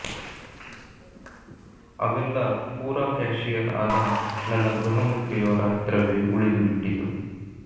ಅವೆಲ್ಲ ಪೂರಾ ಕ್ಯಾಷಿಯರ್ ಆದ ನನ್ನ ಗೃಹ ಮಂತ್ರಿಯವರ ಹತ್ರವೇ ಉಳಿದು ಬಿಟ್ಟಿತ್ತು